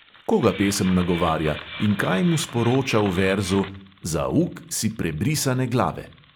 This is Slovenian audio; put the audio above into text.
Koga pesem nagovarja in kaj mu sporoča v verzu "za uk si prebrisane glave"?